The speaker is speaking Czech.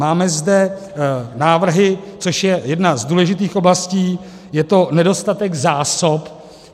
Máme zde návrhy, což je jedna z důležitých oblastí - je to nedostatek zásob.